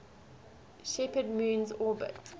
shepherd moon's orbit